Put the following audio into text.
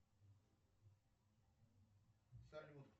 салют